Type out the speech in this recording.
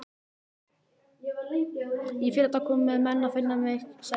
Í fyrradag komu menn að finna mig, sagði Daði.